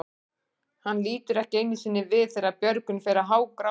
Hann lítur ekki einu sinni við þegar Björgvin fer að hágráta.